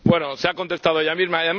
Bueno, se ha contestado ella misma.